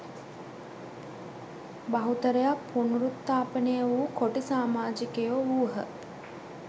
බහුතරයක් පුනරුත්ථාපනය වූ කොටි සාමාජිකයෝ වූහ